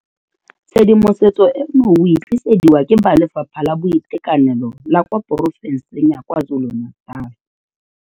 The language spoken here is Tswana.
Tshedimosetso eno o e tlisediwa ke ba Lefapha la Boitekanelo la kwa Porofenseng ya KwaZulu-Natal.